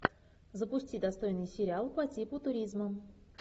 запусти достойный сериал по типу туризма